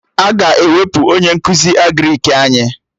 Aga ewepụ onye nkụzi Agrịk anyị